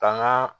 Ka n ka